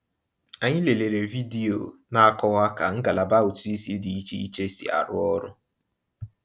Anyị lelere vidiyo na-akọwa ka ngalaba ụtụisi dị iche iche si arụ ọrụ.